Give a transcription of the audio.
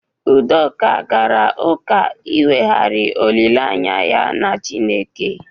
Udoka gara ụka inweghari olile anya ya na Chineke.